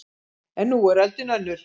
En nú er öldin önnur